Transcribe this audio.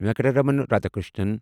Venkataraman Radhakrishnan